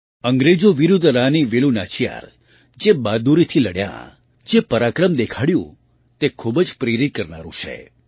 અંગ્રેજો વિરુદ્ધરાની વેલુ નાચિયાર જે બહાદુરીથી લડ્યાં અને જે પરાક્રમ દેખાડ્યું તે ખૂબ જ પ્રેરિત કરનારું છે